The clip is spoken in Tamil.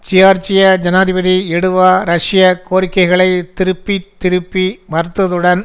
ஜியார்ஜிய ஜனாதிபதி எடுவா ரஷ்ய கோரிக்கைகளை திருப்பி திருப்பி மறுத்ததுடன்